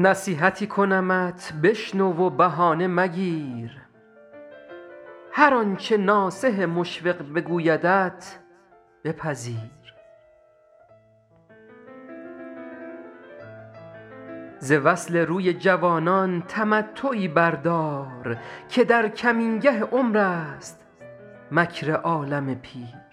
نصیحتی کنمت بشنو و بهانه مگیر هر آنچه ناصح مشفق بگویدت بپذیر ز وصل روی جوانان تمتعی بردار که در کمینگه عمر است مکر عالم پیر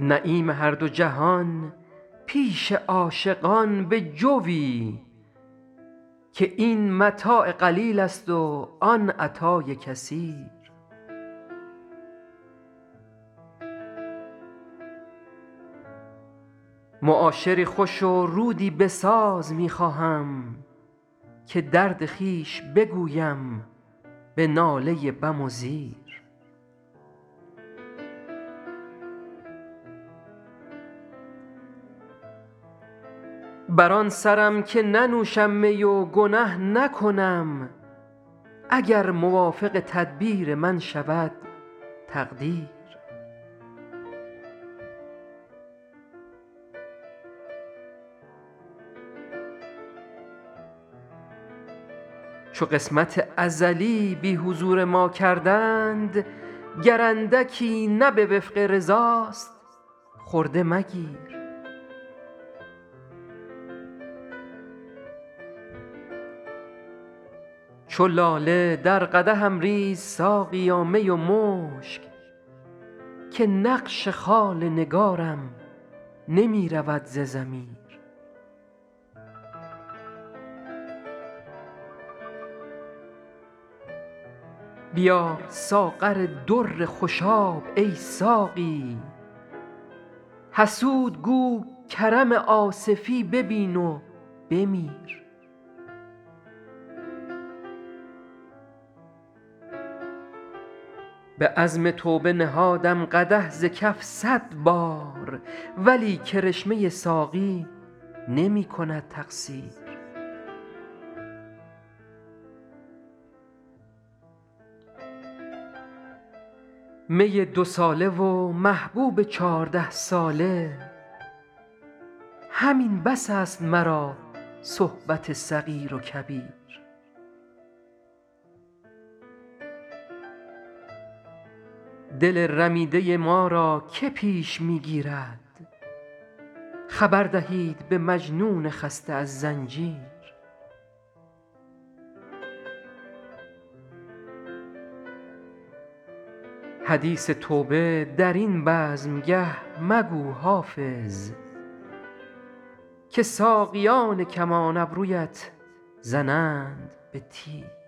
نعیم هر دو جهان پیش عاشقان بجوی که این متاع قلیل است و آن عطای کثیر معاشری خوش و رودی بساز می خواهم که درد خویش بگویم به ناله بم و زیر بر آن سرم که ننوشم می و گنه نکنم اگر موافق تدبیر من شود تقدیر چو قسمت ازلی بی حضور ما کردند گر اندکی نه به وفق رضاست خرده مگیر چو لاله در قدحم ریز ساقیا می و مشک که نقش خال نگارم نمی رود ز ضمیر بیار ساغر در خوشاب ای ساقی حسود گو کرم آصفی ببین و بمیر به عزم توبه نهادم قدح ز کف صد بار ولی کرشمه ساقی نمی کند تقصیر می دوساله و محبوب چارده ساله همین بس است مرا صحبت صغیر و کبیر دل رمیده ما را که پیش می گیرد خبر دهید به مجنون خسته از زنجیر حدیث توبه در این بزمگه مگو حافظ که ساقیان کمان ابرویت زنند به تیر